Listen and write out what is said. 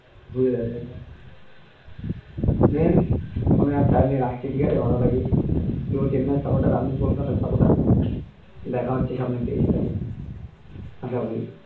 ধুয়ে দেবে একবারে উম phone আর charge নেই রাখছি ঠিক আছে ভালো থাকিস তুইও চেন্নাই এর support র আমি কলকাতার support র দেখা হচ্ছে সামনে তেইশ তারিখ